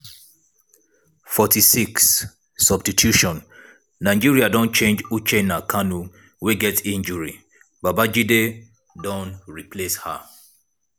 46' substitution nigeria don change uchenna kanu wey get injury babajide don replace her.